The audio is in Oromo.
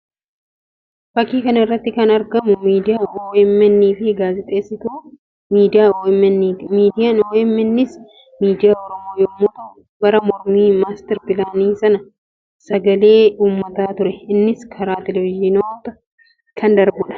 Fakkii kana irratti kan argamu miidiyaa OMN fi gaazexeessituu miidiyaa OMNti. Miidiyaan OMN s miidiyaa Oromoo yammuu ta'u; bara mormii master pilaanii sana sagakee uummataa ture. Innis karaa televiziyoonaa kan darbuudha.